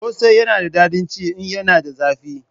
Kosai yana da dadin ci in yana da zafi